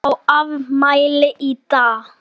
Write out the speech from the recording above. Ég á afmæli í dag.